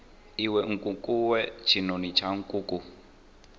iwe nkukuwe tshinoni tsha nkuku